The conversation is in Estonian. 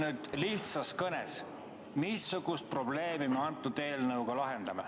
Ütle lihtsas kõnes, missugust probleemi me selle eelnõuga lahendame.